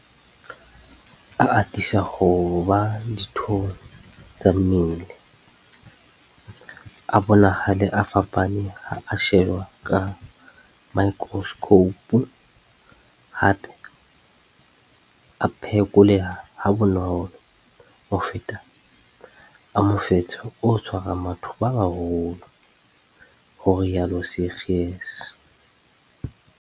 A atisa ho ba dithong tsa mmele, a bonahale a fapane ha a shejwa ka maekroskhoupu, hape a phekoleha ha bonolo ho feta a mofetshe o tshwarang batho ba baholo, ho rialo Seegers.